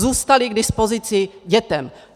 Zůstaly k dispozici dětem.